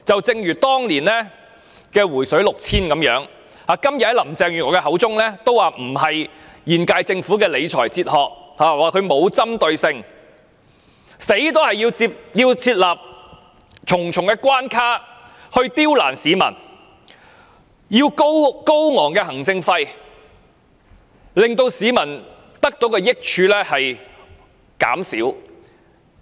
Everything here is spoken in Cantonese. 一如當年"回水 "6,000 元般，林鄭月娥今天亦表示這不符合現屆政府的理財哲學，又批評這做法不具針對性，寧死也要設立重重關卡刁難市民，例如花高昂行政費，以致市民得到的好處減少。